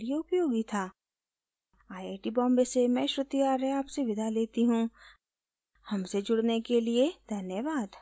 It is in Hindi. आई आई टी बॉम्बे से मैं श्रुति आर्य आपसे विदा लेती हूँ